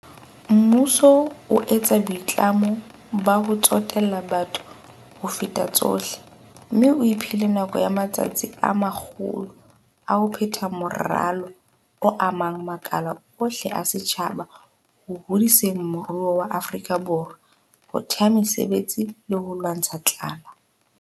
Mmuso o etsa boitlamo ba ho tsotella batho ho feta tsohle, mme o iphile nako ya matsatsi a 100 a ho phetha moralo o amang makala ohle a setjhaba ho hodiseng moruo wa Afrika Borwa, ho thea mesebetsi le ho lwantsha tlala.